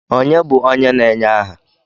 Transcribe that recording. Ònye bụ onye na-enye aha?